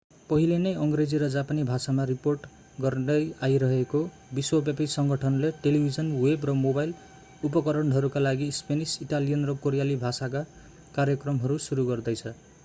पहिले नै अङ्ग्रेजी र जापानी भाषामा रिपोर्ट गर्दै आइरहेको विश्वव्यापी सङ्गठनले टेलिभिजन वेब र मोबाइल उपकरणहरूका लागि स्पेनिस इटालियन र कोरियाली भाषाका कार्यक्रमहरू सुरु गर्दैछ